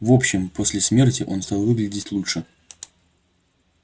в общем после смерти он стал выглядеть лучше